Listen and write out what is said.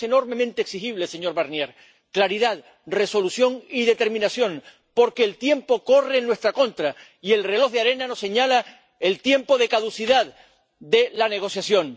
Por eso son enormemente exigibles, señor Barnier, claridad, resolución y determinación, porque el tiempo corre en nuestra contra y el reloj de arena nos señala el tiempo de caducidad de la negociación.